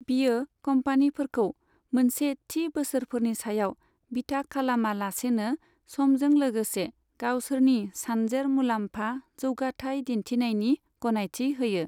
बेयो कम्पानिफोरखौ मोनसे थि बोसोरफोरनि सायाव बिथा खालामा लासैनो समजों लोगोसे गावसोरनि सानजेर मुलाम्फा जौगाथाइ दिन्थिनायनि गनायथि होयो।